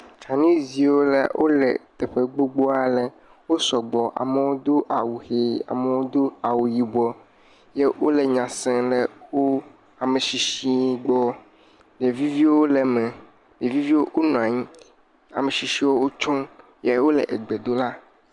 Chinese viwo le teƒe gbogbo aɖe. Wosɔ gbɔ. Amewo Do awu ɣi, ame aɖewo do awu yibɔ eye wole nya sem ɖe wò ame tsitsi gbɔ. Ɖeviviwo le eme, ɖeviviwo nɔ anyi, ame tsitsi wò tso eye wole gbe dom ɖa.